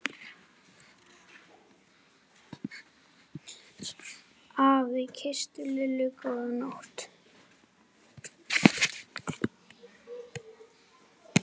Afi kyssti Lillu góða nótt.